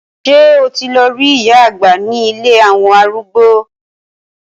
Ṣé o ti lọ rí ìyá àgbà ní ilé àwọn arúgbó?